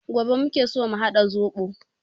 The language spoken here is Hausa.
Gobe muke so mu haɗa zobo